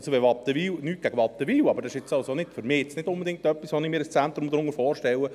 Nichts gegen Wattenwil, aber das ist für mich jetzt nicht unbedingt das, was ich mir unter einem Zentrum vorstelle.